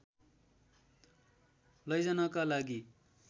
लैजानका लागि